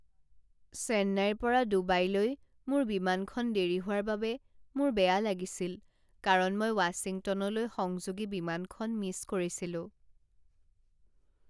চেন্নাইৰ পৰা ডুবাইলৈ মোৰ বিমানখন দেৰি হোৱাৰ বাবে মোৰ বেয়া লাগিছিল কাৰণ মই ৱাশ্বিংটনলৈ সংযোগী বিমানখন মিছ কৰিছিলো।